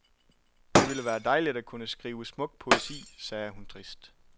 Det ville være dejligt at kunne skrive smuk poesi, sagde hun trist.